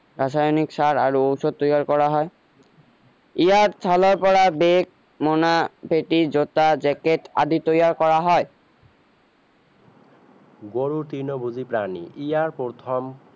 ৰাসায়নিক সাৰ আৰু ঔষৰ তৈয়াৰ কৰা হয় ইয়াৰ ছালৰ পৰা বেগ মোনা পেটি জোতা জেকেট আদি তৈয়াৰ কৰা হয় গৰু তিৰ্ণভুজি প্ৰাণী ইয়াৰ প্ৰথম